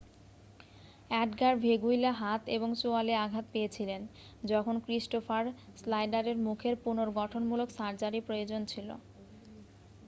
Edgar Veguilla হাত এবং চোয়ালে আঘাত পেয়েছিলেন যখন ক্রিস্টোফার স্নাইডারের মুখের পুনর্গঠনমূলক সার্জারির প্রয়োজন ছিল